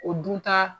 O dun ta